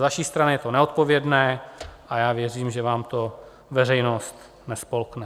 Z vaší strany je to neodpovědné a já věřím, že vám to veřejnost nespolkne.